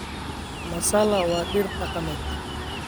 Masala waa dhir dhaqameed.